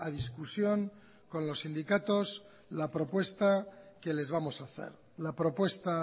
discusión con los sindicatos la propuesta que les vamos a hacer la propuesta